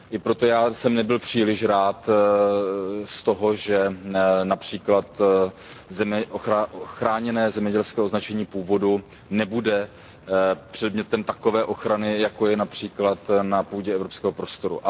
I proto jsem nebyl příliš rád, když například chráněné zemědělské označení původu nebude předmětem takové ochrany, jako je například na půdě evropského prostoru.